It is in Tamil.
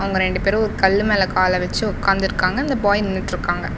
அவங்க ரெண்டு பேரு ஒரு கல்லு மேல கால வச்சு உக்காந்துருக்காங்க இந்த பாய் நின்னுட்டுருக்காங்க.